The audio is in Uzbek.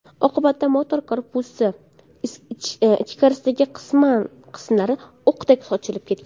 Oqibatda motor korpusi ichkarisidagi qismlar o‘qdek sochilib ketgan.